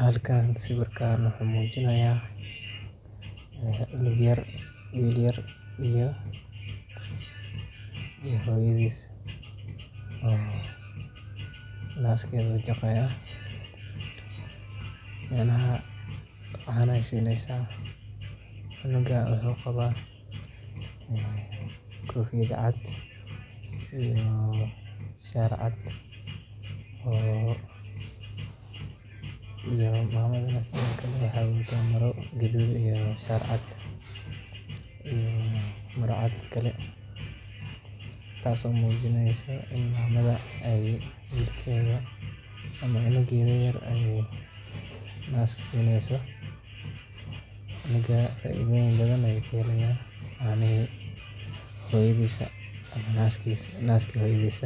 Halkan sawiirkaan wuxuu mujinaaya cunug yar iyo hooyadiid oo naaskeeda jaqaaya macnaha cana ayeey sineysa, cunuga wuxuu qabaa kofiyad cad iyo shaar cad oo iyo mamada sido kale waxeey wadata mara gaduud iyo shaar cad iyo maro cad kale, taas oo mujineyso in mamada cunugeeda yar aay naska sineyso, cunuga cafimaad ayuu kahelaya naaska hoyadiis,